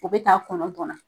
O bɛ ta kɔnɔntɔn na.